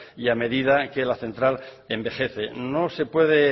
y a medida que la central envejece no se puede